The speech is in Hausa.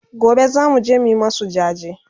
Gobe zamuje mu masu jaje